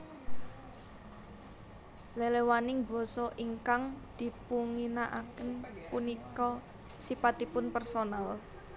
Leléwaning basa ingkang dipunginaaken punika sipatipun personal